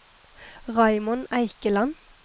Raymond Eikeland